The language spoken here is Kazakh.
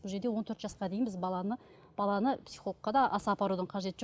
бұл жерде он төрт жасқа дейін біз баланы баланы психологқа да аса апарудың қажеті жоқ